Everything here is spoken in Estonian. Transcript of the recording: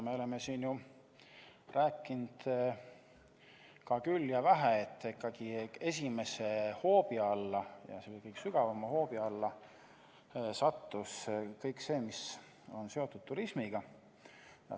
Me oleme siin rääkinud küll ja vähe, et esimese hoobi alla, kõige tugevama hoobi alla sattus kõik see, mis on seotud turismiga.